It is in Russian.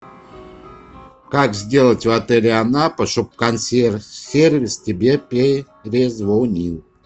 как сделать в отеле анапа чтобы консьерж сервис тебе перезвонил